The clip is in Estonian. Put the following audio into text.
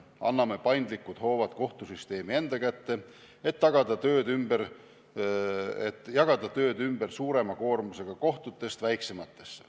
Anname paindlikud hoovad kohtusüsteemi enda kätte, et tööd saaks jagada suurema koormusega kohtutest väiksematesse.